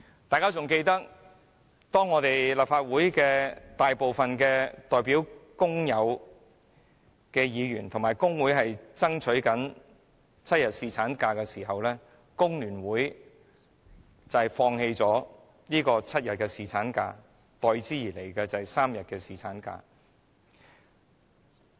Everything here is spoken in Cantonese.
大家應該記得，當立法會大部分代表工友的議員和工會爭取7天侍產假的時候，工聯會放棄了爭取7天的侍產假，代之而來的是3天侍產假。